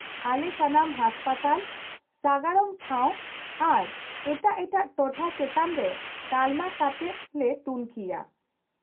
-ᱟᱞᱮ ᱥᱟᱱᱟᱢ ᱦᱟᱥᱯᱟᱛᱟᱞ ,ᱥᱟᱜᱟᱲᱚᱢ ᱴᱷᱟᱣ ᱟᱨ ᱮᱴᱟᱜ ᱮᱴᱟᱜ ᱴᱚᱴᱷᱟ ᱪᱮᱛᱟᱱ ᱨᱮ ᱛᱟᱞᱢᱟ ᱠᱟᱛᱮᱫ ᱞᱮ ᱛᱩᱱᱠᱷᱤᱭᱟ ᱾